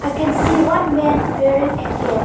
we can see one man wearing a cap.